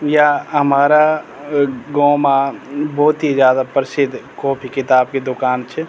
या हमारा गों मा भोत ही ज्यादा प्रसिद्ध कोफी किताब की दूकान च।